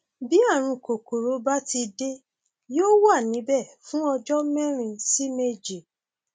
bí ààrùn kòkòrò bá ti dé yóò wà níbẹ fún ọjọ mẹrin sí méje